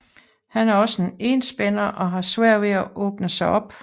Han er også en enspænder og har svært ved at åbne sig op